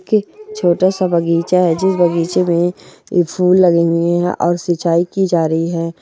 के छोटा सा बगीचा है जिस बगीचे में ये फुल लगे हुए हैं और सिंचाई की जा रही है।